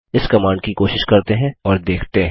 इस कमांड की कोशिश करते हैं और देखते हैं